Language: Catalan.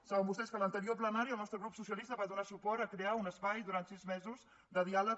saben vostès que a l’anterior plenari el nostre grup socialista va donar suport a crear un espai durant sis mesos de diàleg